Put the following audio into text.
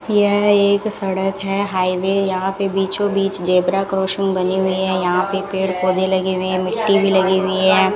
यह एक सड़क है हाईवे यहां पे बीचों बीच जेब्रा क्रॉसिंग बनी हुई है यहां पे पेड़ पौधे लगे हुए है मिट्टी भी लगी हुई है।